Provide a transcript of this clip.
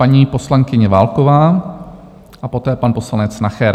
Paní poslankyně Válková a poté pan poslanec Nacher.